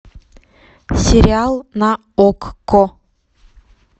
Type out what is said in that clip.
сериал на окко